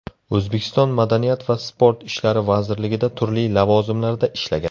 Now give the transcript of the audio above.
O‘zbekiston Madaniyat va sport ishlari vazirligida turli lavozimlarda ishlagan.